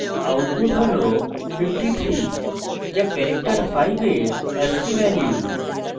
output হল 53 যা character 5 এর ascii value